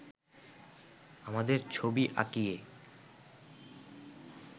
আমাদের ছবি আঁকিয়ে